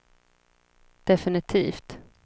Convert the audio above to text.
definitivt